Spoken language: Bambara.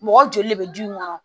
Mɔgɔ joli le bɛ du in kɔnɔ